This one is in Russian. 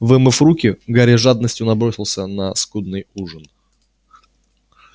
вымыв руки гарри с жадностью набросился на скудный ужин